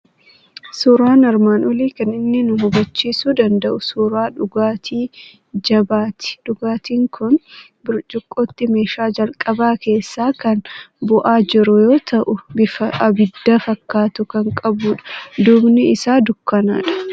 Suuraan armaan olii kan inni nu hubachiisuu danda'u suuraa dhugaatii jabaati. Dhugaatiin kun burcuqqootti meeshaa jalqabaa keessaa kan bu'aa jiru yoo ta'u, bifa abidda fakkaatu kan qabudha. Duubni isaa dukkanadha.